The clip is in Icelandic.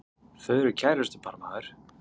Þau eru kærustupar maður!